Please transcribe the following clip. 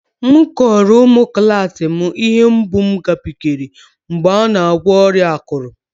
Mụ kọrọ ụmụ klas m ihe mgbu m gabigara mgbe m na-agwọ ọrịa akụrụ